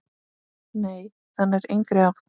Nei, það nær engri átt.